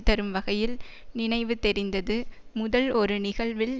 தரும் வகையில் நினைவு தெரிந்தது முதல் ஒரு நிகழ்வில்